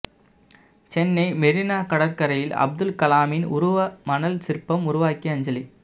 சென்னை மெரினா கடற்கரையில் அப்துல் கலாமின் உருவ மணல் சிற்பம் உருவாக்கி அஞ்சலி